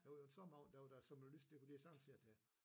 Det var jo en sommeraften der var der såmen lyst det kunne de jo sagtens se til